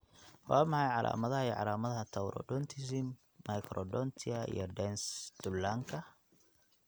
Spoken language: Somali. Waa maxay calaamadaha iyo calaamadaha Taurodontism, microdontia, iyo dens dullanka?